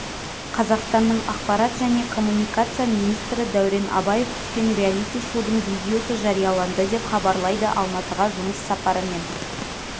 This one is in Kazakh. қазақстанның ақпарат және коммуникация министрі дәурен абаев түскен реалити-шоудың видеосы жарияланды деп хабарлайды алматыға жұмыс сапарымен